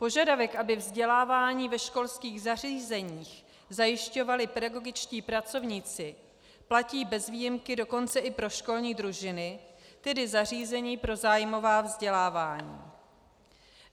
Požadavek, aby vzdělávání ve školských zařízeních zajišťovali pedagogičtí pracovníci, platí bez výjimky dokonce i pro školní družiny, tedy zařízení pro zájmová vzdělávání.